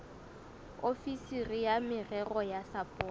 ofisiri ya merero ya sapoto